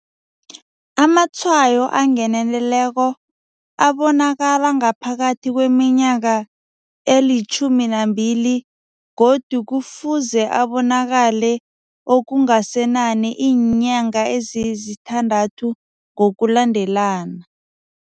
Amatshwayo angeneleleko abonakala ngaphambi kweminyaka eli-12 godu kufuze abonakale okungasenani iinyanga ezisithandathu ngokulandelana.